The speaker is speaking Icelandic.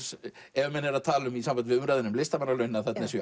ef menn eru að tala um í sambandi við umræðuna um listamannalaun að þarna séu